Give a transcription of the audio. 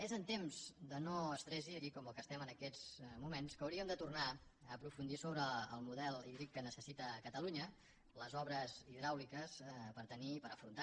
és en temps de no estrès hídric com el que estem en aquests moments que hauríem de tornar a aprofundir en el model hídric que necessita catalunya les obres hidràuliques per afrontar